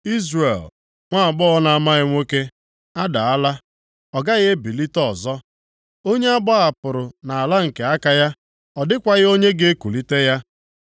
“Izrel, nwaagbọghọ na-amaghị nwoke, a daala, ọ gaghị ebilite ọzọ, onye a gbahapụrụ nʼala nke aka ya, ọ dịkwaghị onye ga-ekulite ya.”